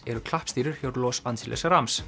eru klappstýrur hjá Los Angeles